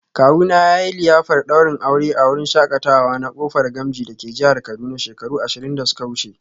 Kawuna yayi liyafar daurin aure a wurin shakatawa na Kofar Gamji dake jihar Kaduna shekaru ashirin da suka wuce